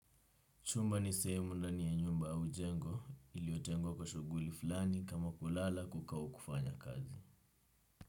Chumba ni sehemu ndani ya nyumba au jengo iliotengwa kwa shuguli fulani kama kulala kuka au kufanya kazi.